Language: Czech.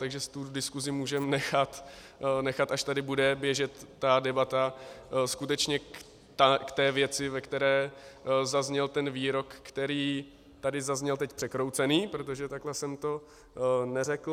Takže si tu diskusi můžeme nechat, až tady bude běžet ta debata skutečně k té věci, ve které zazněl ten výrok, který tady zazněl teď překroucený, protože takhle jsem to neřekl.